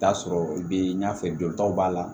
T'a sɔrɔ i be ɲɛfɛ don taw b'a la